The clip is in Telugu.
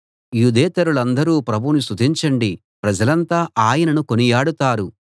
యూదేతరులందరూ ప్రభువును స్తుతించండి ప్రజలంతా ఆయనను కొనియాడతారు